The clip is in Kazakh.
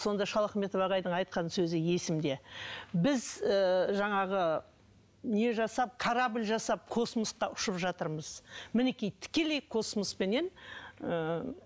сонда шалахметов ағайдың айтқан сөзі есімде біз ыыы жаңағы не жасап корабль жасап космосқа ұшып жатырмыз мінекей тікелей космоспенен ы